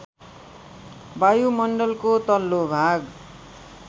वायुमण्डलको तल्लो भाग